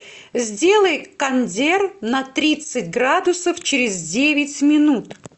сделай кондер на тридцать градусов через девять минут